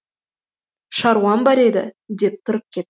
шаруам бар еді деп тұрып кетті